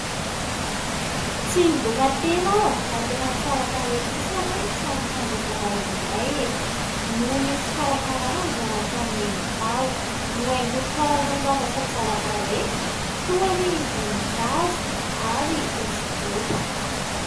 Tsy midoka tena aho, fa tena tsara tarehy kosa aloha ny trano fandraisam-bahininay e ! noho ny fikarakarana izay nataon'i Neny tao. Nohaingony karazany zavatra tsara tarehy toa ny voninkazo ary hosodoko.